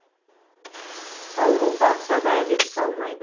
ауру қалса да әдет қалмайды